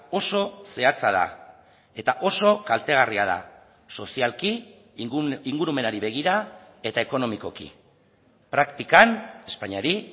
oso zehatza da eta oso kaltegarria da sozialki ingurumenari begira eta ekonomikoki praktikan espainiari